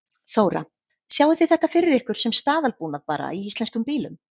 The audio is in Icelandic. Þóra: Sjáið þið þetta fyrir ykkur sem staðalbúnað bara í íslenskum bílum?